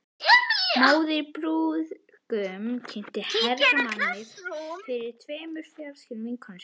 Móðir brúðgumans kynnti Hermann fyrir tveimur fráskildum vinkonum sínum.